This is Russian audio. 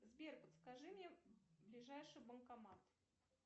сбер подскажи мне ближайший банкомат